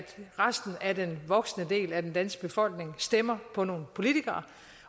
resten af den voksne del af den danske befolkning stemmer på nogle politikere